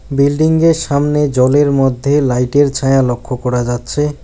Building -য়ের সামনে জলের মধ্যে লাইট -এর ছায়া লক্ষ করা যাচ্ছে।